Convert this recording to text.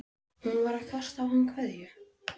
Hún var bara að kasta á hann kveðju.